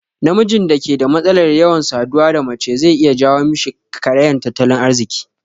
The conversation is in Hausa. Namijin da ke da matsalar yawan saduwa da mace zai iya jawo mishi karayan tattalin arziki